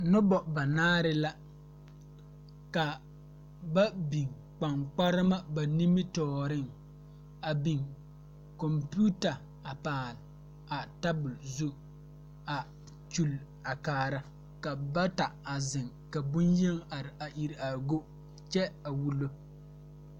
Nobɔ banaare la ka ba biŋ kpaŋkparema ba nimitooreŋ a biŋ kɔmpiuta a paale a tabole zu a kyule a kaara ka bata a zeŋ ka bonyeni are a iri are a go kyɛ a wullo.